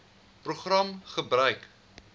program gebruik